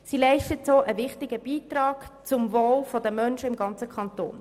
Sie leistet auch einen wichtigen Beitrag zum Wohl der Menschen im ganzen Kanton.